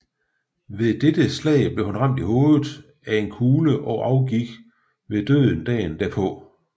Ved dette slag blev han ramt i hovedet af en kugle og afgik ved døden dagen derpå